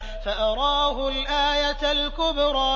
فَأَرَاهُ الْآيَةَ الْكُبْرَىٰ